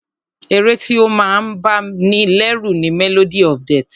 Ẹ̀ré tí o máa ń bá ní lẹ́rù ni "Melody of death"